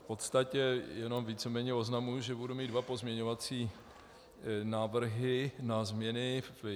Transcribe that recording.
V podstatě jenom víceméně oznamuji, že budu mít dva pozměňovací návrhy na změny.